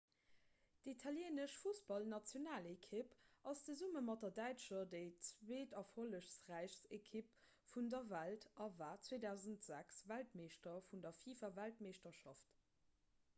d'italieenesch fussballnationalekipp ass zesumme mat der däitscher déi zweeterfollegräichst ekipp vun der welt a war 2006 weltmeeschter vun der fifa-weltmeeschterschaft